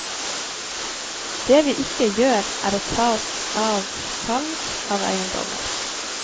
Det vi ikke gjør er å ta oss av salg av eiendommer.